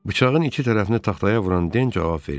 Bıçağın iki tərəfini taxtaya vuran Den cavab verdi.